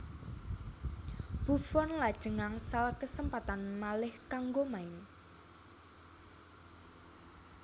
Buffon lajeng angsal kesempatan malih kanggo main